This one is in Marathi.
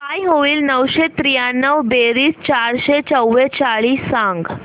काय होईल नऊशे त्र्याण्णव बेरीज चारशे चव्वेचाळीस सांग